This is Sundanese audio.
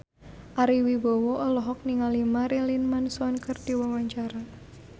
Ari Wibowo olohok ningali Marilyn Manson keur diwawancara